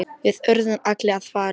Við urðum allir að fara.